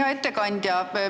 Hea ettekandja!